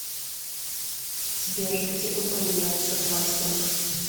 сбер где упоминается бластинг